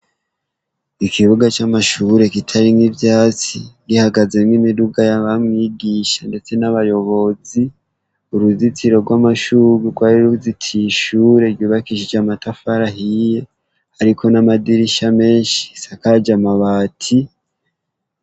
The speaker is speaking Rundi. ikibuga cy'amashure kitarimwo ivyatsi gihagaze n'imiduga y'abamwigisha ndetse n'abayobozi uruzitiro rw'amashurwe rwari ruzitiye ishure yubakishije amatafari ahiye ariko n'amadirisha menshi risakaje amabati